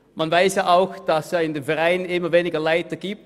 Man weiss auch, dass es in den Vereinen immer weniger Leiter gibt.